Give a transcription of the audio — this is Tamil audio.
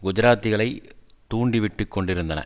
குஜராத்திகளை தூண்டி விட்டு கொண்டிருந்தன